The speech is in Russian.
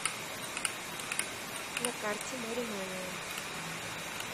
на карте моремания